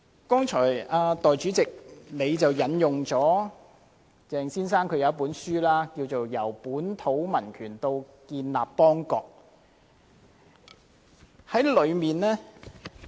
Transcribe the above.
代理主席，你剛才引述了鄭先生一本書，名為《由本土民權到建邦立國》。